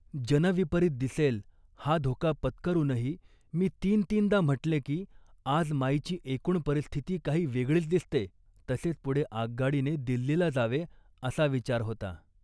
जनविपरीत दिसेल हा धोका पत्करूनही मी तीनतीनदा म्हटले की, आज माईची एकूण परिस्थिती काही वेगळीच दिसते. तसेच पुढे आगगाडीने दिल्लीला जावे असा विचार होता